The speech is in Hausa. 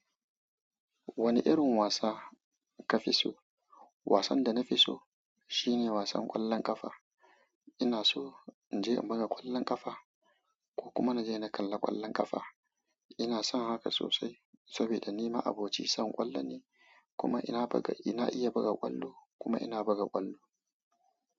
Wani irin wasa ka fi so? Wasan da na fi so shine wasan ƙwallon ƙafa. Ina so in je in buga ƙwallon ƙafa ko kuma na je na kalla ƙwallon ƙafa. Inason haka sosai, sabida ni ma'abocin son kwallo ne, kuma ina buga ina iya buga ƙwallo kuma ina buga ƙwallo.